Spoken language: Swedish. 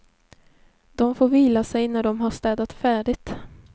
Dom får vila sig när dom har städat färdigt.